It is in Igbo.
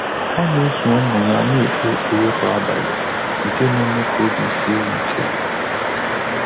Ọ́ nà-ésò ụ́mụ́ yá nà-ékpé ékpèré kwá ábàlị̀, nké nà-émé kà óbí síé yá íké.